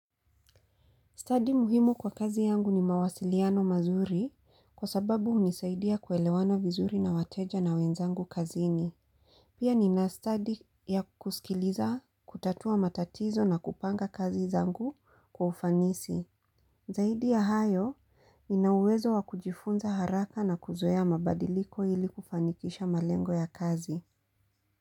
Stadi muhimu kwa kazi yangu ni mawasiliano mazuri kwa sababu unisaidia kuelewana vizuri na wateja na wenzangu kazini. Pia nina stadi ya kuskiliza, kutatua matatizo na kupanga kazi zangu kwa ufanisi. Zaidi ya hayo, nina uwezo wa kujifunza haraka na kuzoea mabadiliko ili kufanikisha malengo ya kazi.